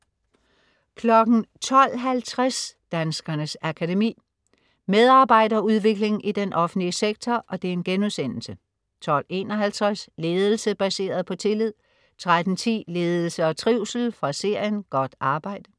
12.50 Danskernes Akademi. Medarbejderudvikling i den offentlige sektor* 12.51 Ledelse baseret på tillid* 13.10 Ledelse og trivsel. Fra serien "Godt arbejde"*